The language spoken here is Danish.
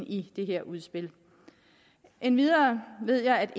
i det her udspil endvidere ved jeg at